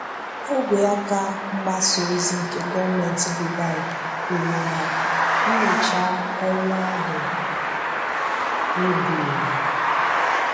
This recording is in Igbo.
Ógwè aka mgbasa ozi nke gọọmentị Dubai kwuru na nnyocha ọnwụ ahụ wùbùrù